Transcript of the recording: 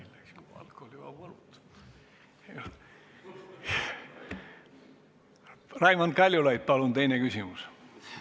Raimond Kaljulaid, palun teine küsimus!